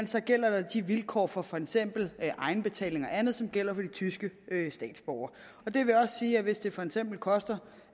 så gælder der de vilkår for for eksempel egenbetaling eller andet som gælder for tyske statsborgere det vil også sige at hvis det for eksempel koster